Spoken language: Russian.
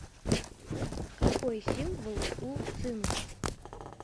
какой символ у цинк